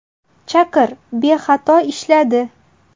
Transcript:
Chaqir bexato ishladi.